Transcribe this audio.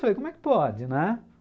Falei, como é que pode, né?